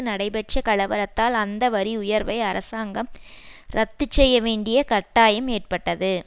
நடைபெற்ற கலவரத்தால் அந்த வரி உயர்வை அரசாங்கம் ரத்து செய்ய வேண்டிய கட்டாயம் ஏற்பட்டது